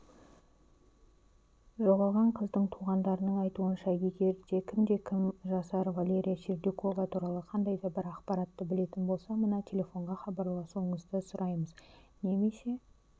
жоғалған қыздың туғандарының айтуынша егер кімде-кім жасар валерия сердюкова туралы қандайда бір ақпаратты білетін болса мына телефонға хабарласуларыңызды сұраймыз немесе